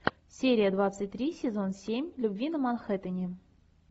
серия двадцать три сезон семь любви на манхэттене